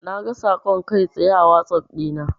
Naga saƙon kai tsaye a wazaf dina.